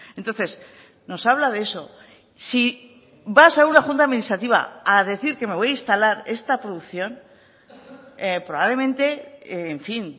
entonces nos habla de eso si vas a una junta administrativa a decir que me voy a instalar esta producción probablemente en fin